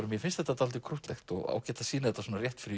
mér finnst þetta dálítið krúttlegt og ágætt að sýna þetta svona rétt fyrir